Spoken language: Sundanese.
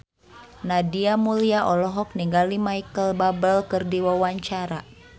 Nadia Mulya olohok ningali Micheal Bubble keur diwawancara